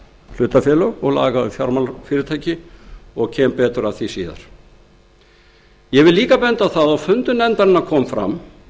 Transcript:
hlutafélög og laga um fjármálafyrirtæki og kem betur að því síðar hér er vert að benda á að á fundi með viðskiptanefnd kom fram